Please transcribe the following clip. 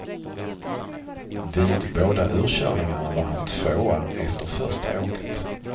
Vid båda urkörningarna var han tvåa efter första åket.